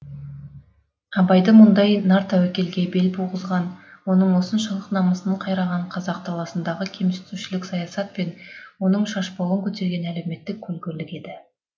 абайды мұндай нартәуекелге бел буғызған оның осыншалық намысын кайраған қазақ даласындағы кемсітушілік саясат пен оның шашбауын көтерген әлеуметтік көлгірлік еді